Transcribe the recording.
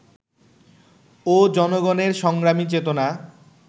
ও জনগণের সংগ্রামী চেতনা